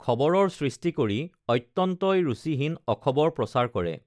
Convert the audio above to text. খবৰৰ সৃষ্টি কৰি অত্যন্তই ৰুচীহীন অখবৰ প্ৰচাৰ কৰে